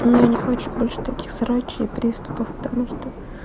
ну я не хочу больше таких срачей приступов потому что